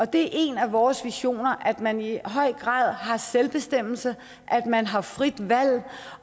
det er en af vores visioner at man i høj grad har selvbestemmelse at man har frit valg